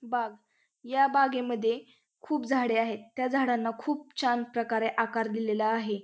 बाग या बागेमध्ये खूप झाडे आहेत. त्या झाडांना खूप छान प्रकारे आकार दिलेला आहे.